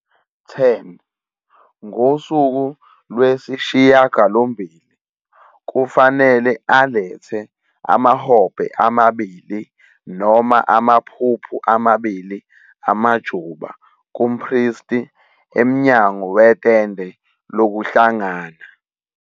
10 Ngosuku lwesishiyagalombili kufanele alethe amahobhe amabili noma amaphuphu amabili amajuba kumpristi emnyango wetende lokuhlangana.